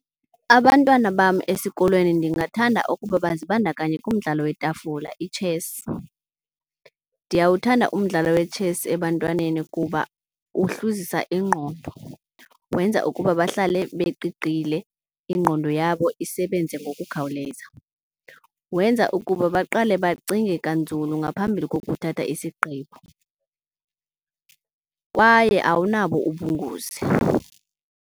Abantwana bam esikolweni ndingathanda ukuba bazibandakanye kumdlalo yetafula, ithesi. Ndiyawuthanda umdlalo wetshesi ebantwaneni kuba uhluzisa ingqondo, wenza ukuba bahlale beqiqile ingqondo yabo isebenze ngokukhawuleza. Wenza ukuba baqale bacinge kanzulu ngaphambili kokuthatha isigqibo kwaye awunabo ubungozi.